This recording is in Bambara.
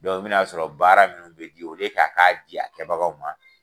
i bɛ n'a sɔrɔ baara minnu bɛ di a k'a di a kɛbagaw ma